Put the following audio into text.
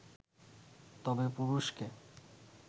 তবে পুরুষকে